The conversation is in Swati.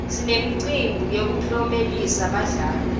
sinemicimbi yekuklomelisa badlali